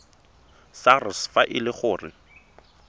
sars fa e le gore